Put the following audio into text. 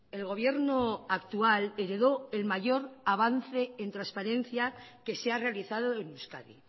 el gobierno actual heredó el mayor avance en transparencia que se ha realizado en euskadi